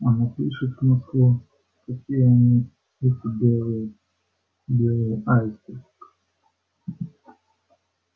и напишет в москву какие они эти белые белые аисты